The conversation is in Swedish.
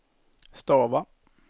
stava